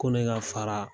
Ko ne ka fara